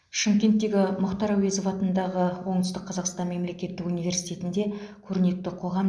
шымкенттегі мұхтар әуезов атындағы оңтүстік қазақстан мемлекеттік университетінде көрнекті қоғам